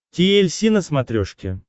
ти эль си на смотрешке